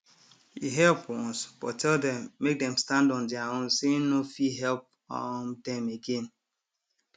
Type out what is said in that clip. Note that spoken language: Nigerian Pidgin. he help once but tell dem make dem stand on deir own say hin no fit help um dem again